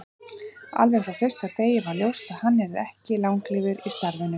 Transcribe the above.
Alveg frá fyrsta degi var ljóst að hann yrði ekki langlífur í starfinu.